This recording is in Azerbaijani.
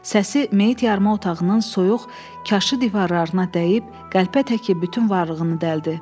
Səsi meytxana otağının soyuq, kaşı divarlarına dəyib qəlpə təki bütün varlığını dəldi.